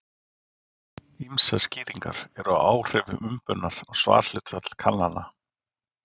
Ýmsar skýringar eru á áhrifum umbunar á svarhlutfall kannana.